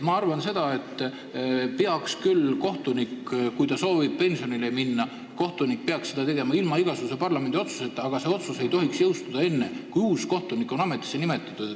Ma arvan, et kohtunik, kes soovib pensionile minna, peaks saama seda teha ilma parlamendi otsuseta, aga see otsus ei tohiks jõustuda enne, kui uus kohtunik on ametisse nimetatud.